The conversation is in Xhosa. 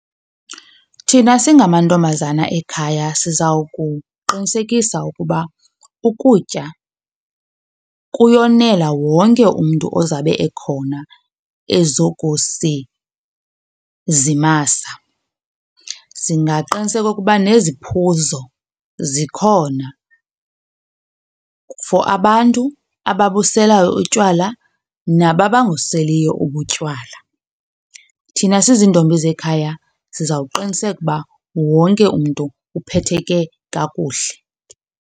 Thina singamantombazana ekhaya sizawukuqinisekisa ukuba ukutya kuyonela wonke umntu ozawube ekhona ezokusizimasa. Singaqiniseka ukuba neziphuzo zikhona for abantu ababuselayo utywala laa naba bangabuselieyo ubutywala. Thina siziintombi zekhaya sizawuqinisekisa ukuba wonke umntu uphetheke kakuhle.